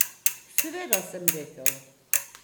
Seveda, sem rekel.